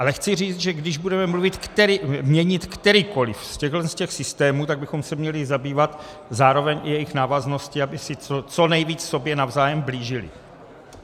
Ale chci říct, že když budeme měnit kterýkoli z těchhle systémů, tak bychom se měli zabývat zároveň i jejich návazností, aby se co nejvíc sobě navzájem blížily.